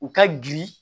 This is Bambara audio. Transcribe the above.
U ka girin